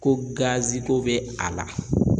Ko gaziko bɛ a la.